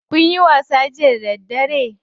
Kunyi wasa jiya da daddare?